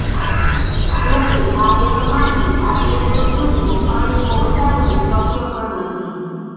જો કે આ ડેમમાંથી આટલે દુર સુધી પાણી પહોંચાડવું શક્ય પણ નથી